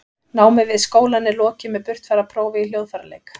námi við skólann er lokið með burtfararprófi í hljóðfæraleik